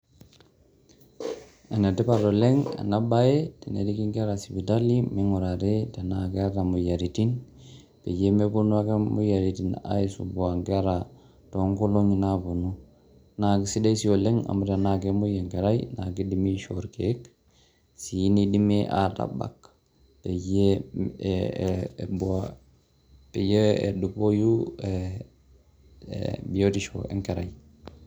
Ene tipat oleng' ena baye teneriki nkera sipitali mimg'urari tenaa keyata moyiaritin peyie meponu ake moyiaritin aisumbua nkera too nkolong'i naaponu. Nake sidai sii oleng' amu tenaake emuei enkerai naake idimi aishoo irkeek sii nidimi atabak peyie ee e peyie edupoyu ee bitishu e nkerai.